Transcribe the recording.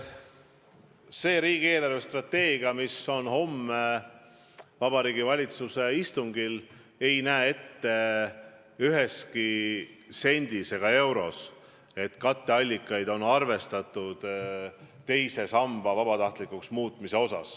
See riigi eelarvestrateegia, mis on homme Vabariigi Valitsuse istungil laudadel, ei näe ette ühegi sendi ega euro puhul katteallikaks raha, mis tuleb tänu teise samba vabatahtlikuks muutmisele.